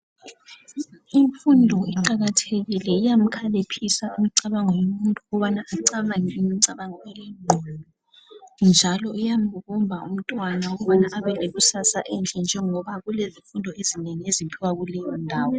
Imfundo iqakathekile iyamkhaliphisa umcabango womuntu ukubana ecabange imicabango elengqondo njalo iyamubumba umtwana ukubana abelekusasa enhle njengoba kulezifundo ezinengi eziphiwa kuleyo ndawo.